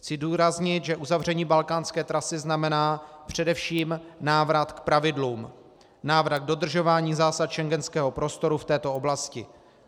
Chci zdůraznit, že uzavření balkánské trasy znamená především návrat k pravidlům, návrat k dodržování zásad schengenského prostoru v této oblasti.